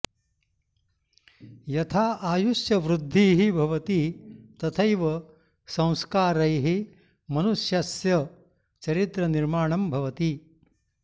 यथा आयुष्यवृद्धिः भवति तथैव संस्कारैः मनुष्यस्य चरित्रनिर्माणं भवति